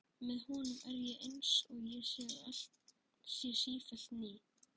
Með honum er ég einsog ég sé sífellt ný.